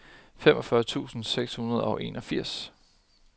femogfyrre tusind seks hundrede og enogfirs